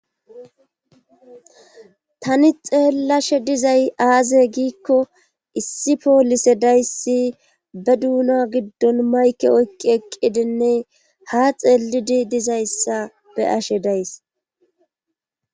tani xeellashe dizay aaze giikko issi poolise dayssi be duuna giddon mayke oykqi eqqidinne ha xeelidi dizayssa be7ashe days